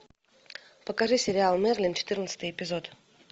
покажи сериал мерлин четырнадцатый эпизод